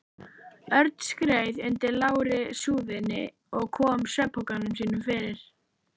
Örn skreið undir lágri súðinni og kom svefnpokanum sínum fyrir.